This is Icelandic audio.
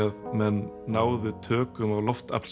að menn náðu tökum á